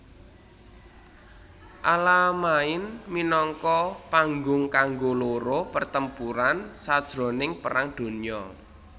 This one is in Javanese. Alamain minangka panggung kanggo loro pertempuran sajroning Perang Donya